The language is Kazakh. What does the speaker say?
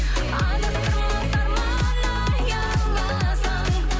адастырмас арман аяуласаң